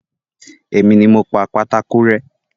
Èmi ni mo pa pátákó rẹ́